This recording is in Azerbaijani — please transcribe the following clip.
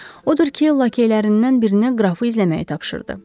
Odur ki, lakeylərindən birinə qrafı izləməyi tapşırdı.